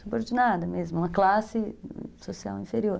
subordinada mesmo, uma classe social inferior.